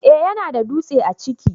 eh ya na da dutse a ciki